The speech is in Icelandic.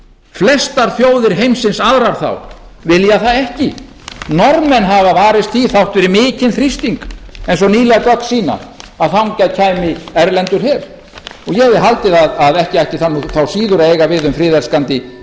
flestar þjóðir heimsins aðrar þá vilja það ekki norðmenn hafa varist því þrátt fyrir mikinn þrýsting eins og nýleg gögn sýna að þangað kæmi erlendur her ég hefði haldið að ekki ætti það þá síður að eiga við um friðelskandi